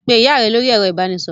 Pe ìyá rẹ lórí ẹ̀rọ ìbanisọ̀rọ̀!